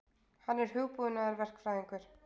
Hann er hugbúnaðarverkfræðingur.